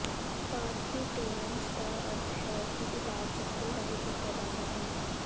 ਪਾਰਕਿਊਟੇਨਸ ਦਾ ਅਰਥ ਹੈ ਕਿ ਇਲਾਜ ਚਮੜੀ ਰਾਹੀਂ ਕੀਤਾ ਜਾਂਦਾ ਹੈ